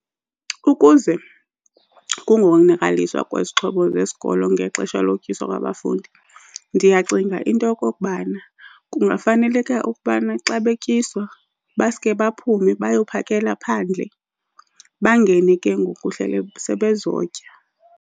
Ukuze kungonakaliswa kwezixhobo zesikolo ngexesha lokutyiswa kwabafundi, ndiyacinga into yokokubana kungafaneleke ukubana xa betyiswa baske baphume bayophakela phandle bangene ke ngoku sebezotya.